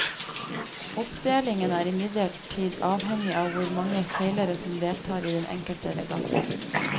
Oppdelingen er imidlertid avhengig av hvor mange seilere som deltar i den enkelte regatta.